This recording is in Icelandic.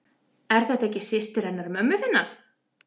Er þetta ekki systir hennar mömmu þinnar?